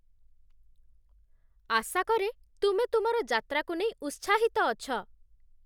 ଆଶା କରେ, ତୁମେ ତୁମର ଯାତ୍ରାକୁ ନେଇ ଉତ୍ସାହିତ ଅଛ।